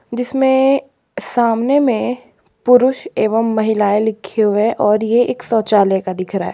जिसमें सामने में पुरुष एवं महिलाएं लिखे हुए है और ये एक शौचालय का दिख रहा है।